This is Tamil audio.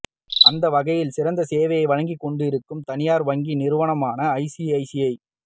அந்த வகையில் சிறந்த சேவையை வழங்கிக் கொண்டிருக்கும் தனியார் வங்கி நிறுவனமான ஐசிஐசிஐ